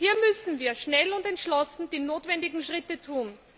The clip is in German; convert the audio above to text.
Hier müssen wir schnell und entschlossen die notwendigen Schritte tun.